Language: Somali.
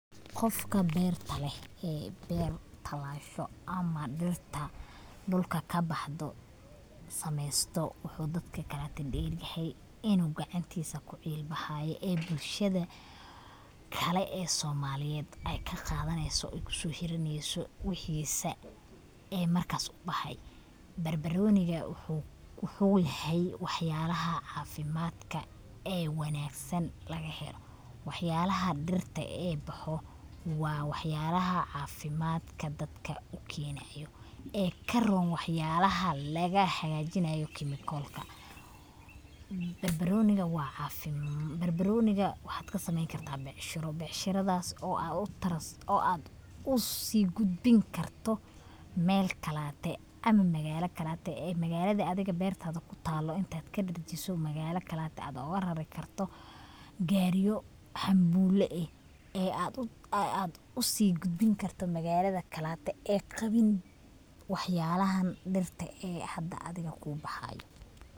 Qofka beerta leh ee beer talasho ama dhirta dhulka kabaxdo sameeysto wuxuu dadka kaleto dheeryahay inu gacantiisa kucil baxaayo ee bulshada kale ee soomaaliyed ay kaqadaneyso ee kuso hiraneyso wixiisa ee markaas ubaxahay, barbarooniga wuxuu yahay wax yalaha caafimadka ee wanaagsan laga helo, wax yalaha dhirta ee boxo waa wax yalaha caafimadka dadka ukeenayo ee karoon waxyalaha lagahajinayo kemikolka, barbarooniga waxad kasameeyni karta becshiro, becshiradas oo ad usi gudbin karto Mel kalate ama magaala kalateee magaalada adiga beertada kutaalo intad kadherjiso magaala kalate ad ogarari karto gaariyo xamula eh ee ad usi gudbin karto magaalada kalate ee, qabin waxyalahan dhirta ee hada adiga kubaxaayo